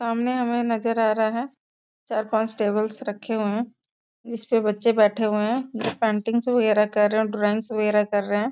सामने हमें नज़र आ रहा है चार-पांच टेबल्स रखे हुए हैं जिसमें बच्चे बैठे हुए हैं जो पैटिंग्स वगेरह कर रहे हैं और ड्राइंगस वगेरह कर रहे हैं।